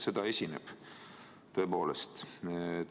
Seda esineb, tõepoolest.